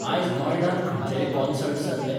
आज नॉएडांत खंयचेय कॉंसर्ट्स जातले?